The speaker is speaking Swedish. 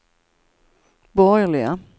borgerliga